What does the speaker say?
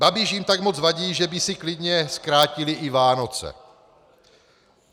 Babiš jim tak moc vadí, že by si klidně zkrátili i Vánoce.